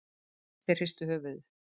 Þeir hristu höfuðið.